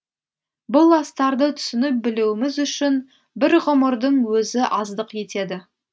бұл астарды түсініп білуіміз үшін бір ғұмырдың өзі аздық етеді